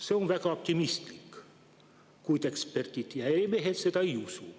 See on väga optimistlik, eksperdid ja ärimehed seda ei usu.